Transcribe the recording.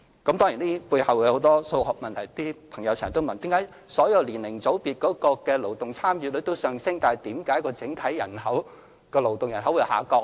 有些朋友經常問：為何當所有年齡組別的勞動參與率均上升時，整體人口的勞動人口還會下降呢？